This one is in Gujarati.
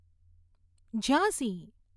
ઝાંસી